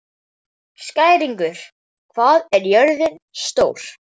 Skæringur, hvað er jörðin stór?